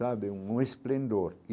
Sabe, um esplendor.